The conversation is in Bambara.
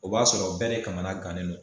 O b'a sɔrɔ bɛɛ de kamana gannen don.